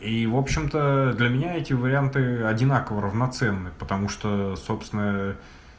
и в общем-то для меня эти варианты одинаково равноценны потому что собственно